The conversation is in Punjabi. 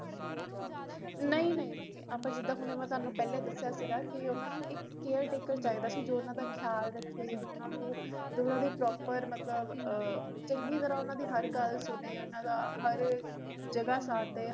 ਨਹੀ ਨਹੀ ਜੀ ਅਪਾ ਜਿੱਦਾ ਹੁਣ ਮੈ ਥੋਨੂੰ ਪਹਿਲਾ ਦਸਿਆ ਸੀਗਾ ਕਿ ਓਹਨਾ ਨੂ ਇਕ caretaker ਚਾਹੀਦਾ ਸੀ ਜੌ ਓਹਨਾ ਦਾ ਖਿਆਲ ਰੱਖੇ ਜੌ ਓਹਨਾ ਨੂ ਜੌ ਓਹਨਾ ਦੀ proper ਮਤਲਬ ਚੰਗੀ ਤਰ੍ਹਾ ਓਹਨਾ ਦੀ ਹਰ ਗੱਲ ਸੁਣੇ ਓਹਨਾ ਦਾ ਹਰ ਜਗ੍ਹਾ ਸਾਥ ਦੇ